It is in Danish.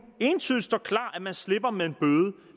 entydigt står klart at man slipper med en bøde